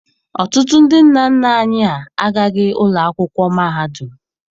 Ọtụtụ ndị nna nna anyị ha agaghị ụlọ akwụkwọ mahadum.